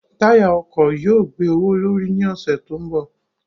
Táyà ọkọ̀ yóò gbé owó l'órí ní ọ̀sẹ̀ tó ń bọ̀.